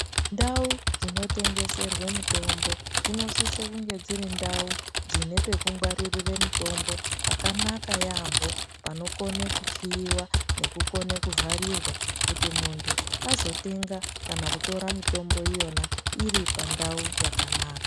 Ndau dzinotengeserwe mutombo dzinosisa kunge dziri ndau dzine pekungwaririre mutombo panokone kukiyiwa nekukone kuvharirwa kuti muntu azotenga kana kutora mitombo iyona iri pandau pakanaka.